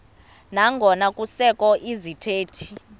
nangona kusekho izithethi